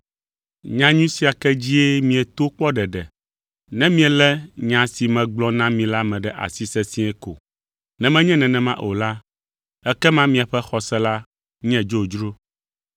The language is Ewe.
Nyanyui sia ke dzie mieto kpɔ ɖeɖe, ne mielé nya si megblɔ na mi la me ɖe asi sesĩe ko. Ne menye nenema o la, ekema miaƒe xɔse la nye dzodzro.